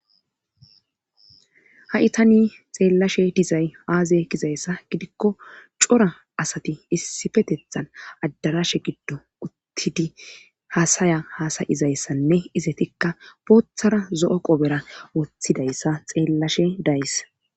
ha7itani xeellashe dizay aaze gizayssa gidikko cora asati issifetethan addarashe giddo uttidi haasaya haasayizayssanne izetikka booththara zo7o qobera woththidayssa xeellashe daysa.